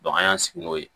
an y'an sigi n'o ye